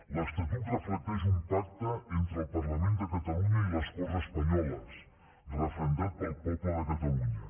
l’estatut reflecteix un pacte entre el parlament de catalunya i les corts espanyoles referendat pel poble de catalunya